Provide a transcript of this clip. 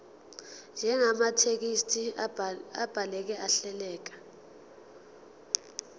njengamathekisthi abhaleke ahleleka